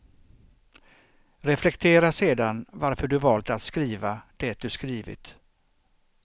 Reflektera sedan varför du valt att skriva det du skrivit.